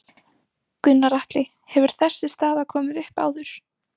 Gunnar Atli: Hefur þessi staða komið upp áður?